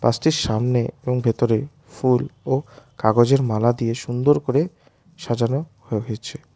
বাসটির সামনে এবং ভেতরে ফুল ও কাগজের মালা দিয়ে সুন্দর করে সাজানো হ হয়েছে।